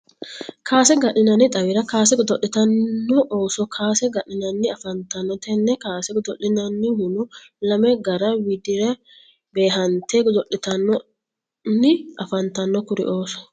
kaase ga'ninnanni xawira kaase godo'litanno ooso kaase ga'ninnanni afanitanno tenne kaase gado'linnanihunno lame garo widira beehante godo'litanni afantanno kuri ooso.